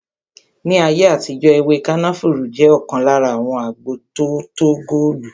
Ní ayé àtijó ewé kànáfùrú jẹ ọkan lára àwọn agbo tótó góòlù